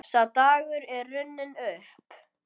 Sá dagur er runninn upp.